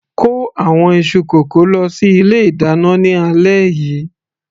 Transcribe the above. kó àwọn iṣu kókò lọ sí ilé ìdáná ní alẹ́ yìí